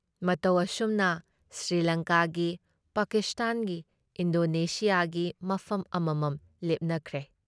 ꯃꯇꯧ ꯑꯁꯨꯝꯅ ꯁ꯭ꯔꯤꯂꯪꯀꯥꯒꯤ, ꯄꯥꯀꯤꯁꯇꯥꯟꯒꯤ, ꯏꯟꯗꯣꯅꯦꯁꯤꯌꯥꯒꯤ ꯃꯐꯝ ꯑꯃꯃꯝ ꯂꯦꯞꯅꯈ꯭ꯔꯦ ꯫